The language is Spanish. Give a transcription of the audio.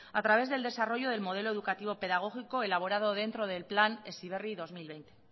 a través del desarrollo del modelo educativo pedagógico elaborado dentro del plan heziberri dos mil veinte